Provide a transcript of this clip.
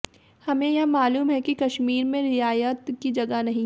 हमें यह मालूम है कि कश्मीर में रियायत की जगह नहीं